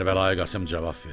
Kərbəlayı Qasım cavab verdi.